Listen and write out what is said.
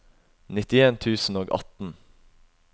nittien tusen og atten